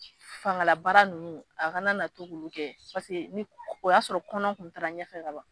Fangalabaara ninnu a kana na to ka olu kɛ o y'a sɔrɔ kɔnɔ tun taara ɲɛfɛ ka ban